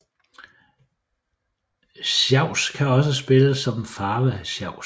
Sjavs kan også spiles som farvesjavs